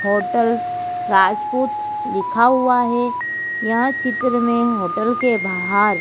Hotel Rajput लिखा हुआ है। यह चित्र में होटल के बाहर--